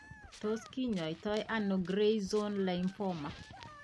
Tos kinyaitoo ano gray zone lymphoma ?